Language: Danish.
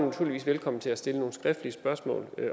naturligvis velkommen til at stille nogle skriftlige spørgsmål